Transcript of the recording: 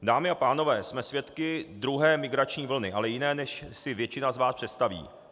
Dámy a pánové, jsme svědky druhé migrační vlny, ale jiné, než si většina z vás představí.